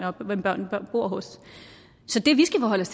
bor hos så det vi skal forholde